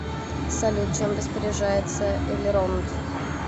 салют чем распоряжается элеронд